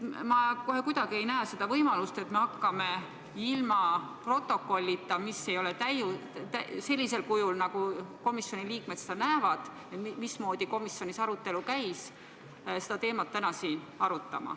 Ma kohe kuidagi ei näe siin võimalust, et hakkame ilma protokollita, mis ei ole sellisel kujul, nagu komisjonis arutelu käis, seda teemat täna siin arutama.